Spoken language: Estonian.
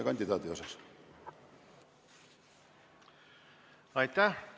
Aitäh!